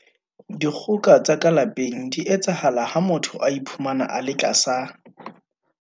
Dikgoka tsa ka lapeng di etsahala ha motho a iphumana a le tlasa.